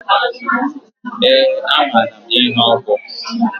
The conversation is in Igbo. Ee, amara m ihe ọ bu.